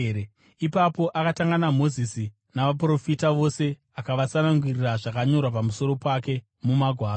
Ipapo akatanga naMozisi navaprofita vose, akavatsanangurira zvakanyorwa pamusoro pake mumagwaro.